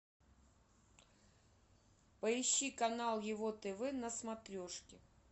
поищи канал его тв на смотрешке